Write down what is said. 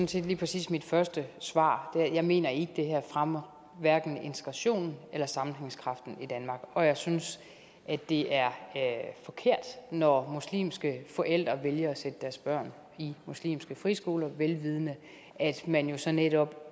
set lige præcis mit første svar jeg mener ikke at det her fremmer integrationen eller sammenhængskraften i danmark og jeg synes at det er forkert når muslimske forældre vælger at sætte deres børn i muslimske friskoler vel vidende at man jo så netop